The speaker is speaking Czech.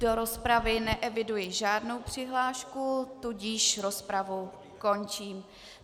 Do rozpravy neeviduji žádnou přihlášku, tudíž rozpravu končím.